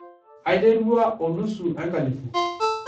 Aiterua o nusu enkalifu.